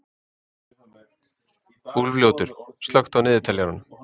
Úlfljótur, slökktu á niðurteljaranum.